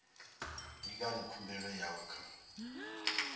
ndi ngani khumbelo yawe ya